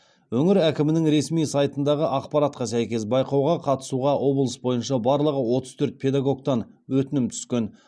өңір әкімінің ресми сайтындағы ақпаратқа сәйкес байқауға қатысуға облыс бойынша барлығы отыз төрт педагогтан өтінім түскен